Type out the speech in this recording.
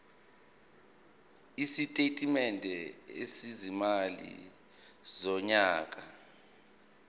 isitatimende sezimali sonyaka